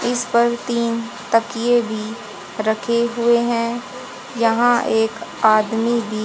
इस पर तीन तकिए भी रखे हुए हैं यहां एक आदमी भी--